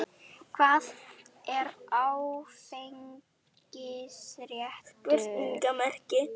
Hvað er áfengiseitrun?